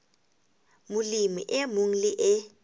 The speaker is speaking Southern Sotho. molemi e mong le e